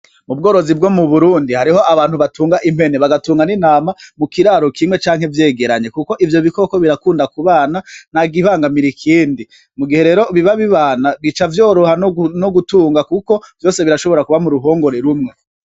Ubworozi bwo mu Burundi, hariho abantu batunga impene, bagatunga n'intama mukiraro kimwe canke vyegeranye. Kuko ivyo bikoko birakunda kubana ntakibangamira ikindi. Mugihe rero biba bibana bica vyoroha nogutunga kuko, vyose birashobora kuba m'uruhongore rumwe.